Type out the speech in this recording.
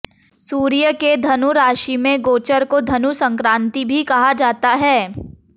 सूर्य के धनु राशि में गोचर को धनु संक्रांति भी कहा जाता है